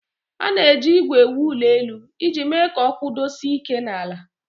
A na-eji ígwè ewu ụlọelu iji mee ka ọ kwụdosie ike n'ala